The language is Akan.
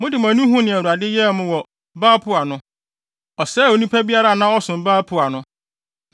Mode mo ani huu nea Awurade yɛɛ mo wɔ Baal-Peor no. Ɔsɛee onipa biara a na ɔsom Baal-Peor no.